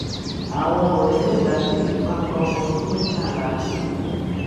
àwọn ọrẹ mẹta sì fipá bá ọmọ ọdún mẹtàlá lò pọ